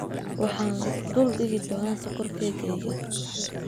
Waxaan dul dhigi doonaa sokor keegeyga.